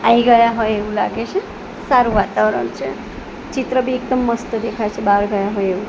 I ગયા હોય એવું લાગે છે સારું વાતાવરણ છે ચિત્ર બી એકદમ મસ્ત દેખાય છે બાર ગયા હોય એવું.